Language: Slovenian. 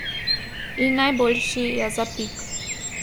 In najboljši je zapik.